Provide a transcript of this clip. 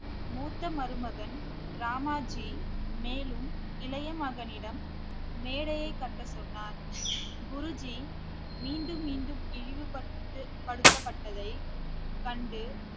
மூத்த மருமகன் ராமாஜி மேலும் இளைய மகனிடம் மேடையைக் கட்டச் சொன்னார் குருஜி மீண்டும் மீண்டும் இழிவுபடுத்த~ இழிவுபடுத்தப்பட்டதை கண்டு